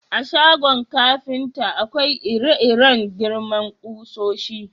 A shagon kafinta, akwai ire-iren girman kusoshi.